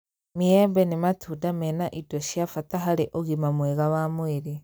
Maembe nĩ matunda mena indo cia bata harĩ ũgima mwega wa mwĩrĩ